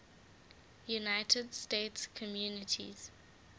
united states communities